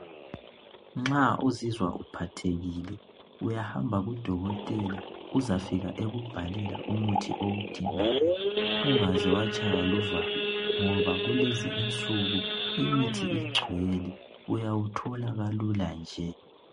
Nxa uzizwa ukphathekile uyahamba kudokotela uyazifika ekubhalela umuthi owudingayo. Ungaze watshayiwa luvalo ngoba lezi insuku imithi igcwele uyawuthola kaluka nje.